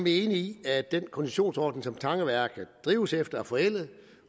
i at den koncessionsordning som tangeværket drives efter er forældet